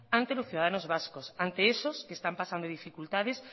ante los ciudadanos vascos ante esos que están pasando dificultades